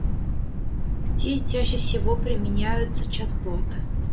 где чаще всего применяются чат-боты